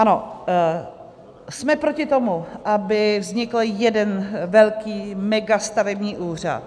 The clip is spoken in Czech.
Ano, jsme proti tomu, aby vznikl jeden velký megastavební úřad.